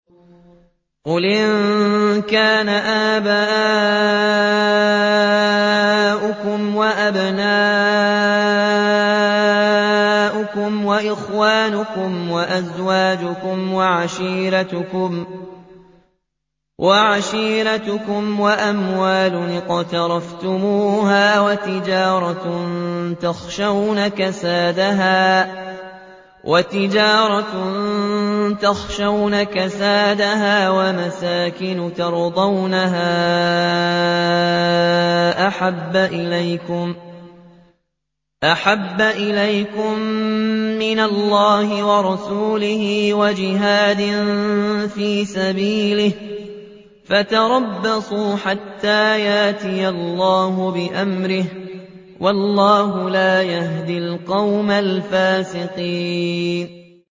قُلْ إِن كَانَ آبَاؤُكُمْ وَأَبْنَاؤُكُمْ وَإِخْوَانُكُمْ وَأَزْوَاجُكُمْ وَعَشِيرَتُكُمْ وَأَمْوَالٌ اقْتَرَفْتُمُوهَا وَتِجَارَةٌ تَخْشَوْنَ كَسَادَهَا وَمَسَاكِنُ تَرْضَوْنَهَا أَحَبَّ إِلَيْكُم مِّنَ اللَّهِ وَرَسُولِهِ وَجِهَادٍ فِي سَبِيلِهِ فَتَرَبَّصُوا حَتَّىٰ يَأْتِيَ اللَّهُ بِأَمْرِهِ ۗ وَاللَّهُ لَا يَهْدِي الْقَوْمَ الْفَاسِقِينَ